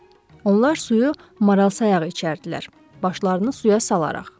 Onlar suyu maral sayağı içərdilər başlarını suya salaraq.